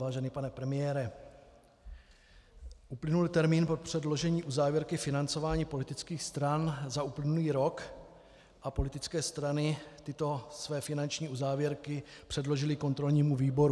Vážený pane premiére, uplynul termín od předložení uzávěrky financování politických stran za uplynulý rok a politické strany tyto své finanční uzávěrky předložily kontrolnímu výboru.